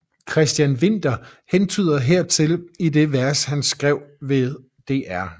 Christian Winther hentyder hertil i det vers han skrev ved Dr